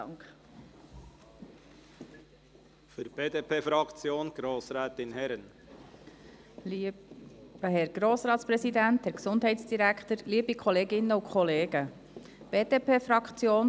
Die BDP-Fraktion folgt auch hier der Antwort der Regierung – einen Punkt ausgenommen.